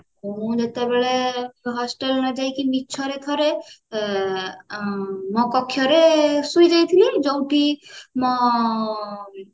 ମୁଁ ଯେତେବେଳେ hostel ନ ଯାଇକି ମିଛରେ ଥରେ ମୋ କକ୍ଷ୍ୟରେ ଶୋଇଯାଇଥିଲି ଯୋଉଠି ମ